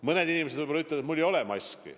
Mõned inimesed võib-olla ütlevad, et mul ei ole maski.